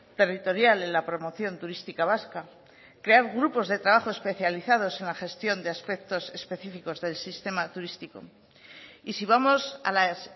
territorial en la promoción turística vasca crear grupos de trabajo especializados en la gestión de aspectos específicos del sistema turístico y si vamos a las